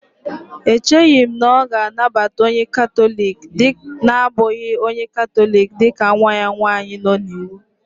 Echeghị m na ọ ga-anabata onye katọlik na-abụghị onye Katọlik dị ka nwa ya nwanyị nọ n'iwu